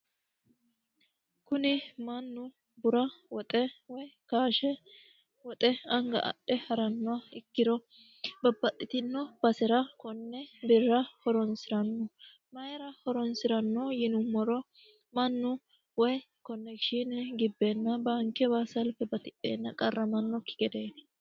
kuni mannu bura woxe woy kaashe woxe anga adhe harannoha ikkiro babbaxxitino basera konne birra horonsi'ranno mayira horonsi'ranno yinummoro mannu woy konnekishiine gibbeenna baankewa salfe batidheenna qarramannokki gedeti.